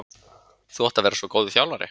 Þú átt að vera svo góður þjálfari.